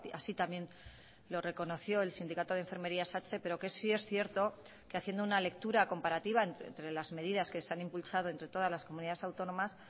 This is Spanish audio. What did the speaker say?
así también lo reconoció el sindicato de enfermería satse pero que sí es cierto que haciendo una lectura comparativa entre las medidas que se han impulsado entre todas las comunidades autónomas